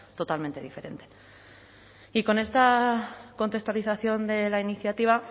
totalmente diferente y con esta contextualización de la iniciativa